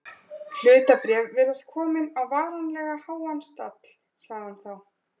Hlutabréf virðast komin á varanlega háan stall sagði hann þá.